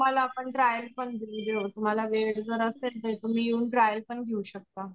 तुम्हाला आपण पण देऊन देऊ तुम्हाला वेळ जर असेल तर तुम्ही ट्रायल पण घेऊ शकता.